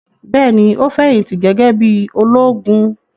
Bẹ́ẹ̀ ni, ó fẹ̀yìntì gẹ́gẹ́ bí i ológun.